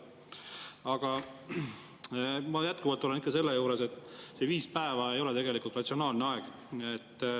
Aga ma jätkuvalt olen ikka sellel, et see viis päeva ei ole ratsionaalne aeg.